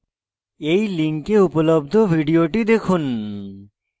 এই লিঙ্কে উপলব্ধ video দেখুন